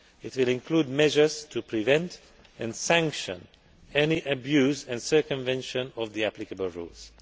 It will include measures to prevent and sanction any abuse and circumvention of the applicable rules.